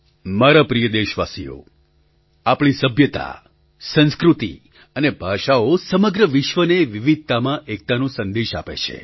મારા પ્રિય દેશવાસીઓ આપણી સભ્યતા સંસ્કૃતિ અને ભાષાઓ સમગ્ર વિશ્વને વિવિધતામાં એકતાનો સંદેશ આપે છે